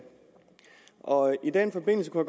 og i den forbindelse var